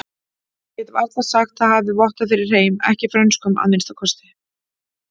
Get varla sagt það hafi vottað fyrir hreim, ekki frönskum að minnsta kosti.